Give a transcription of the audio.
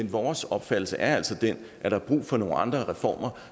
vores opfattelse er altså den at der er brug for nogle andre reformer